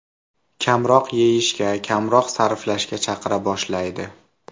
Kamroq yeyishga, kamroq sarflashga chaqira boshlaydi.